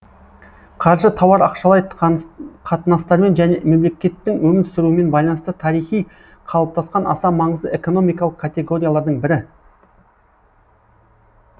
қаржы тауар ақшалай қатынастармен және мемлекеттің өмір сүруімен байланысты тарихи қалыптасқан аса маңызды экономикалық категориялардың бірі